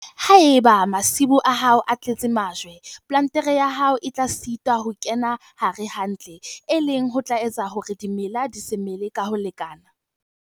Haeba masimo a hao a tletse majwe, plantere ya hao e tla sitwa ho kenella hare hantle, e leng ho tla etsa hore dimela di se mele ka ho lekana.